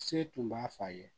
Se tun b'a fɔ a ye